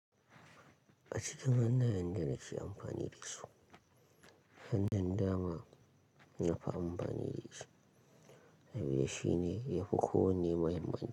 A cikin hannayen da nake amfani da su, hannun dama na fi amfani da shi. Saboda shine yafi kowanne muhimmanci.